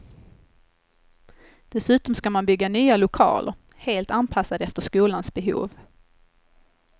Dessutom ska man bygga nya lokaler, helt anpassade efter skolans behov.